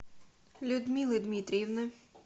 людмилы дмитриевны